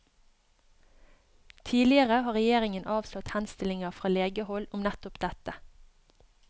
Tidligere har regjeringen avslått henstillinger fra legehold om nettopp dette.